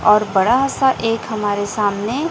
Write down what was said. और बड़ा सा एक हमारे सामने--